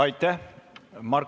Aitäh!